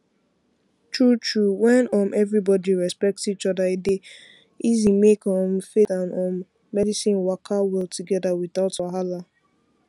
truetrue when um everybody respect each other e dey easy make um faith um and medicine waka well together without wahala